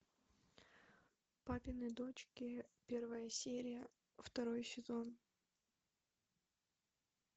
папины дочки первая серия второй сезон